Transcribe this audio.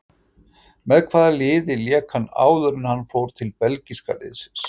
Með hvaða liði lék hann áður en hann fór til belgíska liðsins?